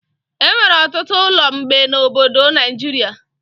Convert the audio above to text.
Enwere ọtụtụ ụlọ mgbe na obodo Naijiria